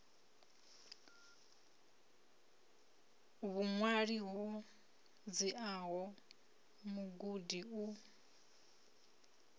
vhuṅwali ho dziaho mugudi u